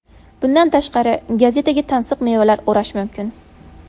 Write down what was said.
Bundan tashqari, gazetaga tansiq mevalar o‘rash mumkin.